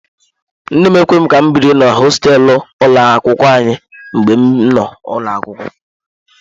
Nne m ekweghị ka m biri na hosteelu ụlọ akwụkwọ mgbe m nọ n'ụlọ akwụkwọ.